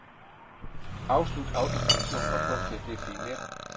Afslut autofunktion og gå til definér.